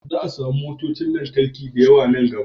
Za a samu motocin lantarki da yawa nan gaba